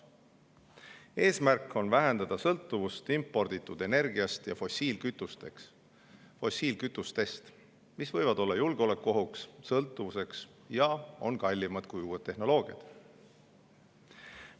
Eesmärk on vähendada sõltuvust imporditud energiast ja fossiilkütustest, mis võivad olla julgeolekuohuks, sõltuvuseks ja on kallimad kui uued tehnoloogiad.